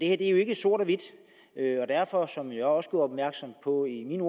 er jo ikke sort hvidt og derfor som jeg også gjorde opmærksom på i min